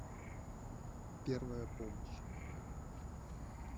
первая помощь